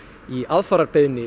í aðfararbeiðni